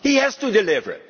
He has to deliver.